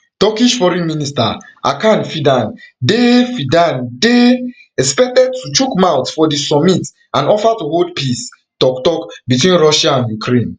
turkish foreign minister hakan fidan dey fidan dey expected to chook mouth for di summit and offer to hold peace toktok between russia and ukraine